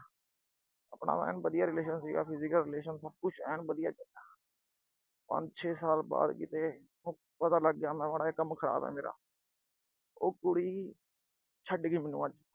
ਆਪਣਾ ਐਨ ਵਧੀਆ relation ਸੀਗਾ, physical relation ਸਭ ਕੁਛ ਏਨ ਵਧੀਆ। ਪੰਜ ਛੇ ਸਾਲ ਬਾਅਦ ਕਿਤੇ ਉਹਨੂੰ ਪਤਾ ਲੱਗ ਗਿਆ ਕਿਤੇ ਕੰਮ ਖਰਾਬ ਏ ਮੇਰਾ। ਉਹ ਕੁੜੀ ਛੱਡ ਗੀ ਮੈਨੂੰ ਅੱਜ।